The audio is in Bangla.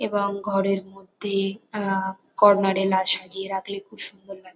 এবং ঘরের মধ্যে আ কর্নার -এ লাল সাজিয়ে রাখলে খুব সুন্দর লাগ --